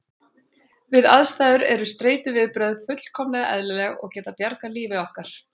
Við þessar aðstæður eru streituviðbrögð fullkomlega eðlileg og geta bjargað lífi okkar.